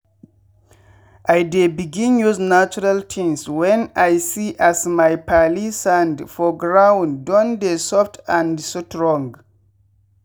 i dey begin use natural tins wen i see as my palee sand for ground con dey soft and strong.